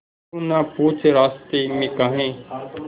तू ना पूछ रास्तें में काहे